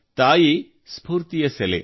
ತಾಯಿ ಸ್ಫೂರ್ತಿಯ ಸೆಲೆ